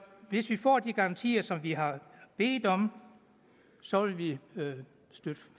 hvis vi får de garantier som vi har bedt om så vil vi støtte